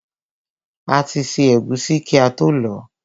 A ti ṣẹ́ ẹ̀gúsí kí ató lọ̀ọ́.